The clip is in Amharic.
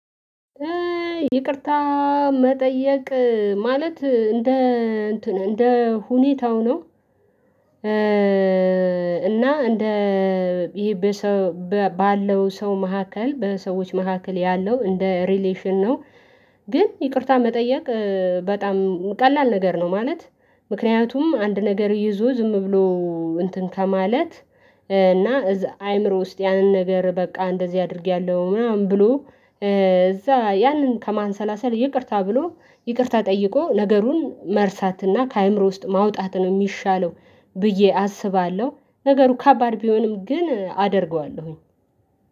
ይቅርታ መጠየቅ ማለት እንደ እንትን እንደ ሁኔታው ነው። እና እንደ ይሄ ባለው ሰው መካከል በሰዎች መካከል ያለው እንደ ሪሌሽን ነው፣ ግን ይቅርታ መጠየቅ በጣም ቀላል ነገር ነው፤ ማለት ምክንያቱም አንድ ነገር ይዞ ዝም ብሎ እንትን ከማለት እና እዛ አይምሮ ውስጥ ያንን ነገር በቃ እንደዚህ አድርጌያለሁ ምናምን ብሎ እዛ ያንን ከማንሰላሰል ይቅርታ ብሎ ይቅርታ ጠይቆ ነገሩን መርሳትና ከአእምሮ ውስጥ ማውጣት ነው የሚሻለው ብዬ አስባለሁ ነገሩ ከባድ ቢሆንም ግን አደርገዋለሁኝ።